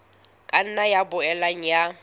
ka nna ya boela ya